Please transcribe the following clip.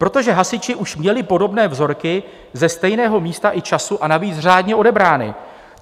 Protože hasiči už měli podobné vzorky ze stejného místa i času, a navíc řádně odebrané.